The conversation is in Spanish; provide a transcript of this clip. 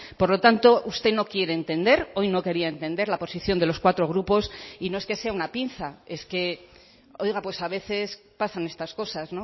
por lo tanto usted no quiere entender hoy no quería entender la posición de los cuatro grupos y no es que sea una pinza es que oiga pues a veces pasan estas cosas